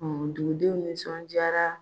dugudenw nisɔndiyara